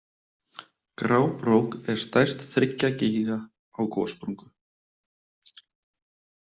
Grábrók er stærst þriggja gígja á gossprungu.